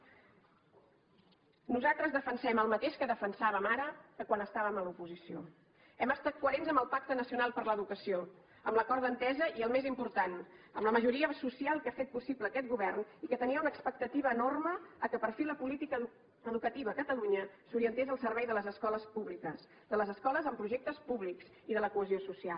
nosaltres defensem el mateix que defensàvem ara que quan estàvem a l’oposició hem estat coherents amb el pacte nacional per a l’educació amb l’acord d’entesa i el més important amb la majoria social que ha fet possible aquest govern i que tenia una expectativa enorme que per fi la política educativa a catalunya s’orientés al servei de les escoles públiques de les escoles amb projectes púbics i de la cohesió social